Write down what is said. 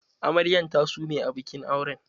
Amaryan ta sume a bikin auren